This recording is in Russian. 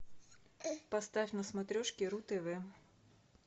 поставь на смотрешке ру тв